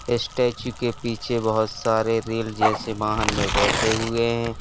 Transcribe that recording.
Statue के पीछे बहोत सारे रेल जैसे वाहन में बैठे हुए है।